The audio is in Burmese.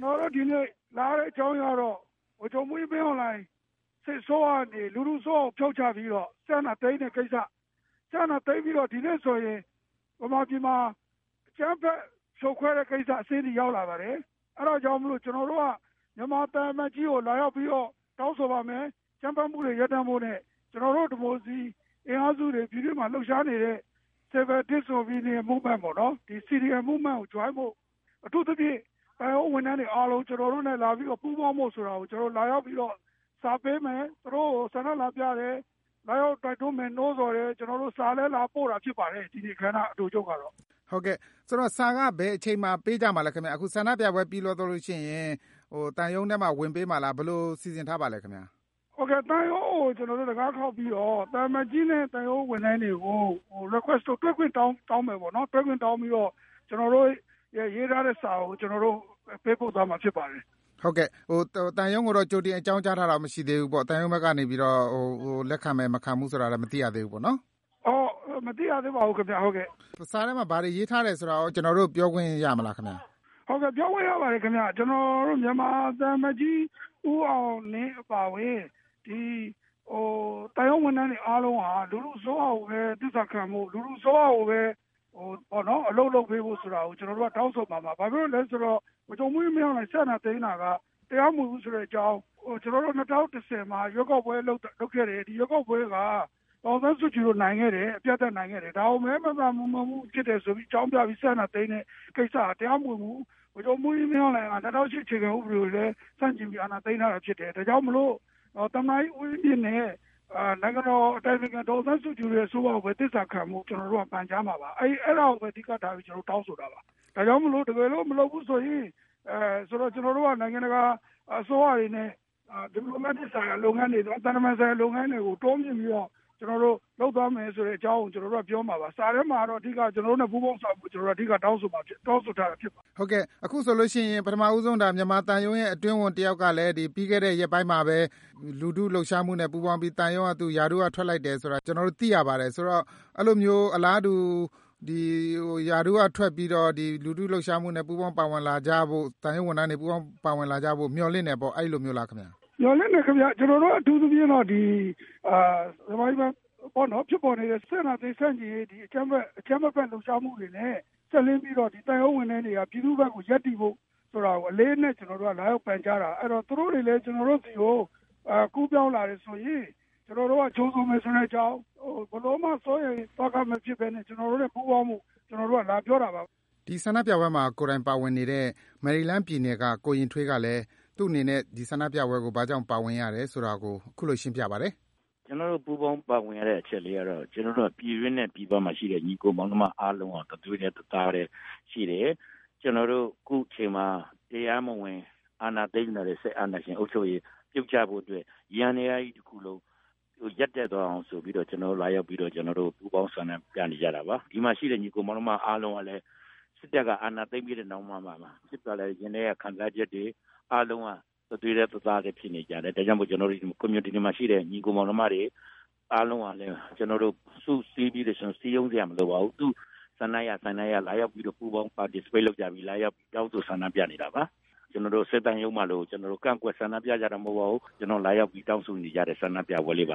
နော်တို့ဒီနေ့ လာရတဲ့ အကြောင်းအရင်းကတော့ ဗိုလ်ချုပ်မှူးကြီး မင်းအောင်လှိုင် စစ်အစိုးရကနေ လူထုအစိုးရကို ဖြုတ်ချပြီးတော့ စစ်အာဏာသိမ်းတဲ့ကိစ္စ ၊ စစ်အာဏာသိမ်းပြီးတော့ ဒီနေ့ဆိုရင် မြန်မာပြည်မှာ အကြမ်းဖက် ဖြိုခွဲတဲ့ကိစ္စအဆင့်အထိ ရောက်လာပါတယ်။ အဲဒါကြောင့်မို့ ကျနော်တို့က မြန်မာသံအမတ်ကြီးကို လာရောက်ပြီးတော့ တောင်းဆိုပါမယ်။ အကြမ်းဖက်မှုတွေ ရပ်တန့်ဖို့နဲ့ ကျနော်တို့ ဒီမိုကရေစီ အင်အားစုတွေ ပြည်တွင်းမှာ လှုပ်ရှားနေတဲ့ Civil Disobedience Movement ကို ပူးပေါင်းဖို့ ၊ အထူးသဖြင့် သံရုံးဝန်ထမ်းတွေ ကျနေ်ာတို့နဲ့ လာပြီးတော့ ပူးပေါင်းဖို့ဆိုတာကို ကျနော်တို့ လာရောက်ပြီးတော့ စာပေးမယ် ၊ သူတို့ကို ဆန္ဒလာပြတယ်၊ လာရောက်တိုက်တွန်းမယ် နိုးဆော်တယ်၊ စာလည်း လာပို့တာဖြစ်ပါတယ်။ ဒီနေ့အခမ်းအနား အတိုချုပ်ကတော့။ ဟုတ်ကဲ့ စာက ဘယ်အချိန်မှာ ပေးကြမှာလဲခင်ဗျ အခုဆန္ဒပြပွဲ ပြီးသွားရင် သံရုံးထဲမှာ ဝင်ပေးမှာလား ဘယ်လိုစီစဉ်ထားပါသလဲခင်ဗျ။ ဟုတ်ကဲ့ သံရုံးကို တံခါးခေါက်ပြီးတော့ သံအမတ်ကြီးတဲ့ သံရုံးဝန်ထမ်းတွေကိုရော တွေ့ခွင့်တောင်းမယ်ပေါ့နော်။ တွေ့ခွင့်တောင်းပြီးတော့ ကျနော်တို့ ရေးထားတဲ့ စာကို ကျနော်တို့ ပေးပို့သွားမှာ ဖြစ်ပါတယ်။ ဟုတ်ကဲ့ သံရုံးကိုတော့ ကြိုတင်အကြောင်းကြားထားတာ မရှိသေးဘူးပေါ့ ။ သံရုံးဘက်ကနေ လက်ခံမယ်၊ မခံဘူးဆိုတာ မသိရသေးဘူးပေါ့နော်။ မသိရသေးပါဘူးခင်ဗျ။ စာထဲမှာ ဘယ်လိုရေးထားတယ်ဆိုတာရော ကျနော်တို့ကို ပြောခွင့်ရမလားဆရာ။ ဟုတ်ကဲ့ ပြောခွင့်ရပါတယ်ခင်ဗျ။ ကျနော်တို့ မြန်မာသံအမတ်ကြီး ဦးအောင်လင်းအပါအဝင် သံရုံးဝန်ထမ်းတွေအားလုံးက လူထုအစိုးရကိုပဲ သစ္စာခံဖို့၊ လူထုကိုပဲ အလုပ်လုပ်ပေးဖို့ဆိုတာကို ကျနော်တို့ တောင်းဆိုမှာပါ။ ဘာကြောင့်လဲဆိုတော့ ဗိုလ်ချုပ်မှူးကြီး မင်းအောင်လှိုင် စစ်အာဏာသိမ်းတာက တရားမဝင်ဘူးဆိုတဲ့အကြောင်း ၊ ၂၀၂၀ မှာ ရွေးကောက်ပွဲ လုပ်ခဲ့တယ် ။ ဒီရွေးကောက်ပွဲက ဒေါ်အောင်ဆန်းစုကြည်တို့ အပြတ်အသတ် နိုင်ခဲ့တယ်။ ဒါကို မဲ မသမာမှုဖြစ်တယ်ဆိုတာအကြောင်းပြပြီး စစ်အာဏာသိမ်းတဲ့ကိစ္စက တရားမဝင်ဘူး။ ဗိုလ်ချုပ်မှူးကြီး မင်းအောင်လှိုင်က ၂၀၀၈ အခြေခံဥပဒေကိုလည်း ဆန့်ကျင်ပြီး အာဏာသိမ်းခဲ့တာဖြစ်တယ်။ ဒါကြောင့်မို့ သမ္မတဦးဝင်းမြင့်နဲ့ နိုင်ငံတော်အတိုင်ပင်ခံ ဒေါ်အောင်ဆန်းစုကြည်တို့ အစိုးရကိုပဲ သစ္စာခံဖို့ ကျနော်တို့ ပန်ကြားမှာပါ။ အဲဒါကို အဓိကထားပြီး ကျနော်တို့ တောင်းဆိုတာပါ။ ဒါကြောင့်မို့လို့ တကယ်လို့ မလုပ်ဘူးဆိုရင် ကျနော်တို့က နိုင်ငံတကာ အစိုးရတွေနဲ့ သံတမန်ဆိုင်ရာလုပ်ငန်းတွေကို တိုးမြှင့်ပြီးတော့ လုပ်သွားမယ်ဆိုတဲ့အကြောင်းကို ပြောမှာပါ။ စာထဲမှာတော့ အဓိကတော့ ကျနော်တို့နဲ့ ပူးပေါင်းဆောင်ရွက်ဖို့ တောင်းဆိုထားတာ ဖြစ်ပါတယ်။ ဟုတ်ကဲ့ အခုဆိုရင် ဒါပထမဦးဆုံး မြန်မာသံရုံးရဲ့ အတွင်းဝန်တယောက်ကလည်း ပြီးခဲ့တဲ့ ရက်ပိုင်းမှာပဲ လူထုလှုပ်ရှားမှုနဲ့ ပူးပေါင်းပြီး ရာထူးက ထွက်လိုက်တယ်ဆိုတာ ကျနော်တို့ သိရပါတယ်။ ဆိုတော့ အဲလိုမျိုး အလားတူ ရာထူးကထွက်ပြီးတော့ လူထုလှုပ်ရှားမှုမှာ သံရုံးဝန်ထမ်းတွေ ပူးပေါင်းပါဝင်လာကြဖို့ မျှော်လင့်တယ်ပေါ့ အဲလိုမျိုးလားခင်ဗျ။ မျှော်လင့်တယ်ခင်ဗျ ကျနော်တို့ကတော့ အထူးသဖြင့်တော့ မြန်မာပြည်မှာ ဖြစ်ပေါ်နေတဲ့ စစ်အာဏာသိမ်း ဆန့်ကျင်ရေး အကြမ်းမဖက် လှုပ်ရှားမှုတွေနဲ့ စပ်လျဉ်းပြီးတော့ သံရုံးဝန်ထမ်းတွေက ပြည်သူ့ဘက်ကို ရပ်တည်ဖို့ အလေးအနက် လာရောက်ပန်ကြားတာ။ အဲဒီတော့ သူတို့တွေလည်း ကျနော်တို့ဆီကို ကူးပေါင်းလာတယ်ဆိုရင် ကျနော်တို့က ကြိုဆိုမယ်ဆိုတဲ့အကြောင်း ၊ ဘယ်လိုမှ စိုးရိမ်သောက မဖြစ်ပဲနဲ့ ကျနော်တို့နဲ့ ပူးပေါင်းဖို့ လာပြောတာပါခင်ဗျ။ “ကျနော်တို့ပူးပေါင်းပါဝင်ရတဲ့ အချက်ကတော့ ကျနော်တို့က ပြည်တွင်းနဲ့ ပြည်ပမှာရှိတဲ့ ညီအကိုမောင်နှမ အားလုံးက တသွေးတည်း ၊ တသားတည်း ရှိတယ်။ ကျနော်တို့ အခုအချိန်မှာ တရားမဝင် အာဏာသိမ်းလာတဲ့ စစ်အာဏာရှင်အုပ်ချုပ်ရေး ပြုတ်ကျဖို့အတွက် ယန္တရားကြီးတခုလုံး ရပ်တန့်သွားအောင်ဆိုပြီးတော့ကျနော်တို့ လာရောက်ပြီးတော့ ပူးပေါင်းဆောင်ရွက်ကြတာပါ ။ ဒီမှာရှိတဲ့ ညီအကို မောင်နှမတွေ အားလုံးကလ်ညး စစ်တပ်က အာဏာသိမ်းပြီးတဲ့နောက်မှာ ရင်ထဲက ခံစားချက်တွေ အားလုံးက တသွေးတည်း တသားတည်း ဖြစ်နေကြတယ်။ ဒါကြောင့်မို့ community မှာရှိတဲ့ ညီအကို မောင်နှမတွေ အားလုံးကလည်း ကျနော်တို့ စုစည်းပြီးတော့ ကျနော်တို့ စည်းရုံးစရာမလိုပါဘူး။ သူတို့လာရောက်ပြီးတော့ ပူးပေါင်း participate လုပ်ကြပြီး လာရောက်တောင်းဆို ဆန္ဒပြနေတာပါ။ ကျနော်တို့ စစ်သံရုံးမှာလို လာပြီးတော့ ကန့်ကွက်ဆန္ဒပြကြတာ မဟုတ်ပါဘူး။ ကျနော်တို့ လာရောက်ပြီးတောင်းဆိုနေကြတဲ့ ဆန္ဒပြပွဲလေးပ